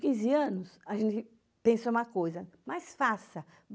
quinze anos, a gente pensa uma coisa, mas faça.